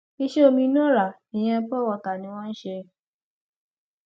iṣẹ omi inú ọrá ìyẹn pọ wọta ni wọn ń ṣe